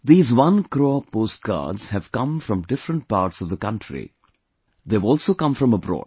These one crore post cards have come from different parts of the country; they have also come from abroad